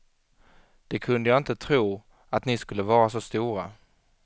Det kunde jag inte tro, att ni skulle vara så stora.